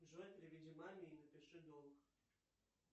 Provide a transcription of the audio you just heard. джой переведи маме и напиши долг